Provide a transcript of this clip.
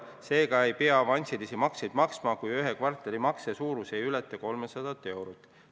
Seega ei pea avansilisi makseid maksma, kui ühe kvartali makse suurus ei ületa 300 eurot.